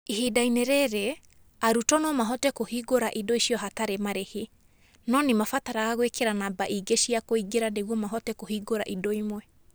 Ihinda-inĩ rĩrĩ, arutwo no mahote kũhingũra indo icio hatarĩ marĩhi, no nĩ mabataraga gwĩkĩra namba ingĩ cia kũingĩra nĩguo mahote kũhingũra indo imwe.